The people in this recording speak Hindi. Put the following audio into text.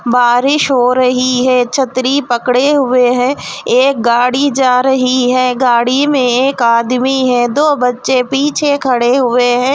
बारिश हो रही है छ्त्री पकड़े हुए हैं एक गाड़ी जा रही है गाड़ी में एक आदमी है दो बच्चे पीछे खड़े हुए हैं.